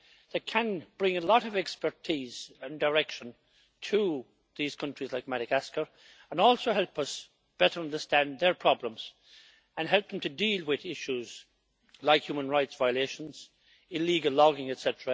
They can bring a lot of expertise and direction to countries like Madagascar and also help us better understand their problems and help them deal with issues like human rights violations and illegal logging, etc.,